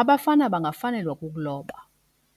Abafana bangafanelwa kukuloba.